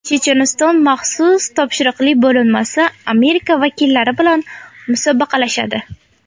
Checheniston maxsus topshiriqli bo‘linmasi Amerika vakillari bilan musobaqalashadi.